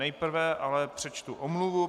Nejprve ale přečtu omluvu.